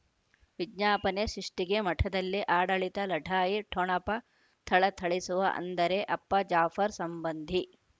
ವಿಜ್ಞಾಪನೆ ಸೃಷ್ಟಿಗೆ ಮಠದಲ್ಲಿ ಆಡಳಿತ ಲಢಾಯಿ ಠೊಣಪ ಥಳಥಳಿಸುವ ಅಂದರೆ ಅಪ್ಪ ಜಾಫರ್ ಸಂಬಂಧಿ